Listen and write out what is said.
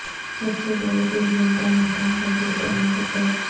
سب سے بڑی دوربین کا مقام تبدیل کرنے پر غور